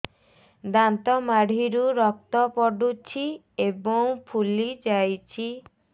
ଦାନ୍ତ ମାଢ଼ିରୁ ରକ୍ତ ପଡୁଛୁ ଏବଂ ଫୁଲି ଯାଇଛି